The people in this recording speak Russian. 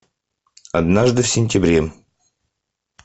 однажды в сентябре